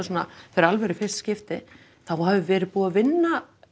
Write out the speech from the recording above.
fyrir alvöru í fyrsta skipti þá hafi verið búið að vinna